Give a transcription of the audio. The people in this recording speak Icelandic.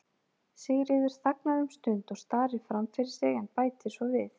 Sigríður þagnar um stund og starir fram fyrir sig en bætir svo við